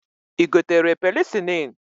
I gotere penicilin?